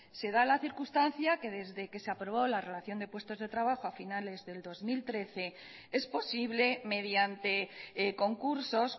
se da la circunstancia que desde que se aprobó la relación de puestos de trabajo a finales del dos mil trece es posible mediante concursos